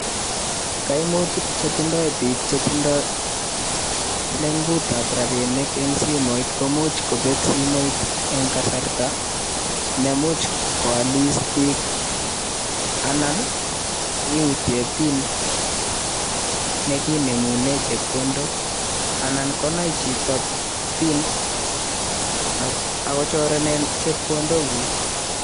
Kaimutik chetindo biik chetindo leng'ut ab rabinik en simoit komuch kobet simoit en kasarta nemuch kwolis biik, anan iutyen pin nekinemunen chepkondok, anan konai chito pin akochorenin chepkondokuk.